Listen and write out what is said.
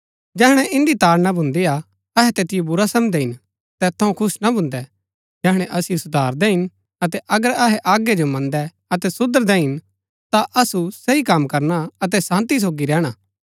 जैहणै इन्दी ताड़ना भून्दी हा अहै तैतिओ बुरा समझदै हिन तैत थऊँ खुश ना भून्दै जैहणै असिओ सुधारदै हिन अतै अगर अहै आज्ञा जो मन्दै अतै सुधरदै हिन ता असु सही कम करना अतै शान्ती सोगी रैहणा